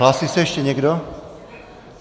Hlásí se ještě někdo?